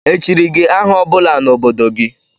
Echiri gị aha ọ bụla n' obodo gị?